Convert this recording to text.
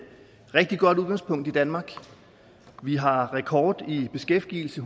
rigtig godt udgangspunkt i danmark vi har rekord i beskæftigelse